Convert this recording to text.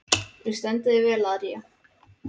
Þú stendur þig vel, Aría!